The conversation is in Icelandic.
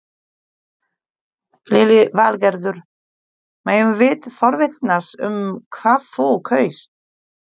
Lillý Valgerður: Megum við forvitnast um hvað þú kaust?